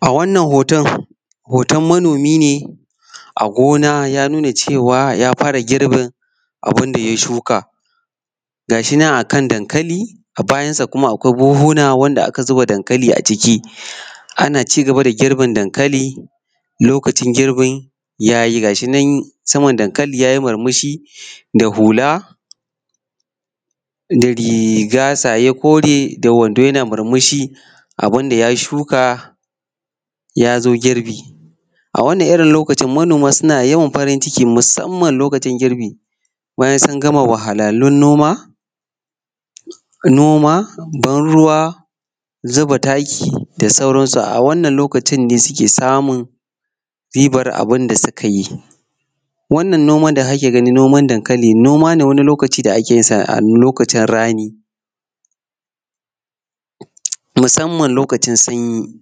A wannan hoton hoton manomi ne a gina ya nuna cewa ya fara girbin abun da ya shuka ga shi nan a kan dankali a bayansa kuma akwai buhuhuna wanda aka zuba dankalin a ciki qna ci gaba da girbin dankali lokacin ya yi ga shi nan saman dankali ya yi murmushi da hula da riga saye kore yana murmushi na abun da ya shuka ya zo girbi A wannan irin lokacin manoma suna musamman loakcin girbi bayan sun gama wahalhalun noma ban ruwa zuba taki da sauransu a wannan loakcin ne suke samu ribar abun da suka yi. Wannan noma da kake gani noma dankali, noma ne wani lokaci da ake yin sa a lokacin rani musamman lokacin sanyi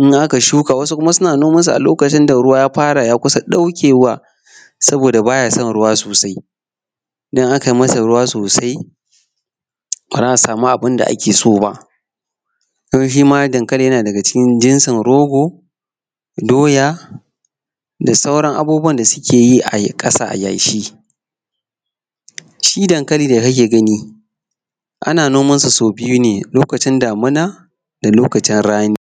wasu kuma sun nomansu musamma ruwan sama ya kusa daukewa saboda ba ya son ruwa sosai. Ba za a sama abun da ake so ba. Shi ma dankalin yana daga cikin jinsin rogo doya da saran abunuwan da suke yi a ƙasa a yashi. Shibdankali da kake gani ana nomasa soau biyu ne da lokacin rani